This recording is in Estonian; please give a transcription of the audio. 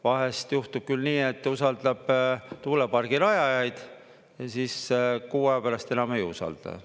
Vahest juhtub küll nii, et usaldab tuulepargirajajaid ja siis kuu aja pärast enam ei usalda.